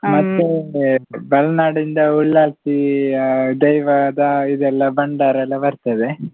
ಮತ್ತೇ Balnad ಇಂದ ಉಳ್ಳಾಲ್ತಿ ಆ ದೈವದ ಇದು ಎಲ್ಲ ಭಂಡಾರ ಎಲ್ಲ ಬರ್ತದೆ.